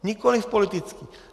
Nikoliv politický!